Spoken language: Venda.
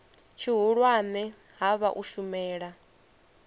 tshihulwane ha vha u shumela